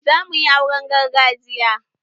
Za muyi auren gargajiya